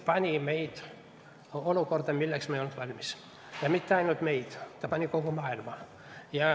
... pani meid olukorda, milleks me ei olnud valmis, ja mitte ainult meid, vaid kogu maailma.